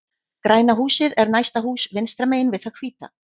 Græna húsið er næsta hús vinstra megin við það hvíta.